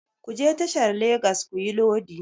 Ku je tashar Legas kuyi lodi!